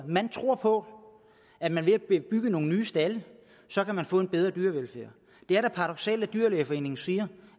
man tror på at man ved at bygge nogle nye stalde kan få en bedre dyrevelfærd det er da paradoksalt at dyrlægeforening siger